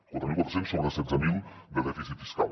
quatre mil quatre cents sobre setze mil de dèficit fiscal